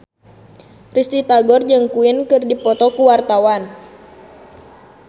Risty Tagor jeung Queen keur dipoto ku wartawan